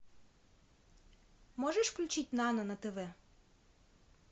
можешь включить нано на тв